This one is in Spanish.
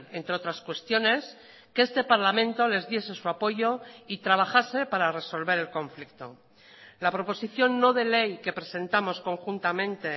entre otras cuestiones que este parlamento les diese su apoyo y trabajase para resolver el conflicto la proposición no de ley que presentamos conjuntamente